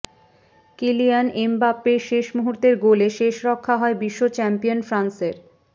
Kylian এমবাপ্পের শেষ মুহূর্তের গোলে শেষ রক্ষা হয় বিশ্বচ্যাম্পিয়ন ফ্রান্সের